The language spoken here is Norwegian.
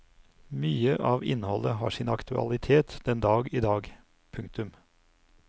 Mye av innholdet har sin aktualitet den dag i dag. punktum